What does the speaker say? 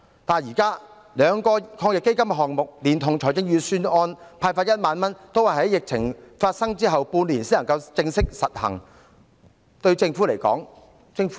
但是，現時兩輪防疫抗疫基金的項目連同預算案派發的1萬元，均要待疫情發生半年後才實行。